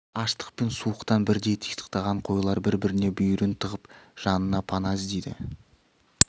аштық пен суықтан бірдей титықтаған қойлар бір-біріне бүйірін тығып жанына пана іздейді